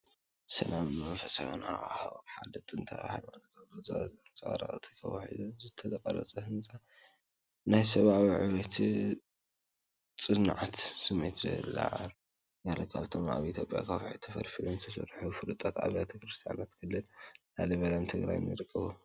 ሰላምን መንፈሳዊ ሃዋህውን ናይ ሓደ ጥንታዊ ሃይማኖታዊ ቦታ ዘንጸባርቕ እዩ። እቲ ኣብ ከውሒ ዝተቐርጸ ህንጻ፡ ናይ ሰብኣዊ ዕብየትን ጽንዓትን ስምዒት የለዓዕል። ገለ ካብቶም ኣብ ኢትዮጵያ ብከውሒ ተፈልፊሎም ዝተሰርሑ ፍሉጣት ኣብያተ ክርስቲያናት ኣብ ክልል ላሊበላን ትግራይን ይርከቡ።